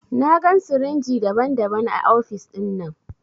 Na gan sirinji daban-daban a ofis dinnan.